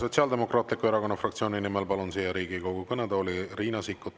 Sotsiaaldemokraatliku Erakonna fraktsiooni nimel palun siia Riigikogu kõnetooli Riina Sikkuti.